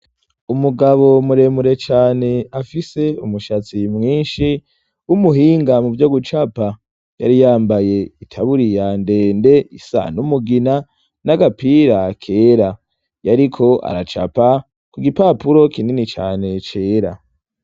Umugabo muremure cane afise umushatsi mwinshi umuhinga mu vyo gucapa yari yambaye itaburi ya ndende isan'umugina n'agapira kera yariko aracapa ku gipapuro kinini cane cera.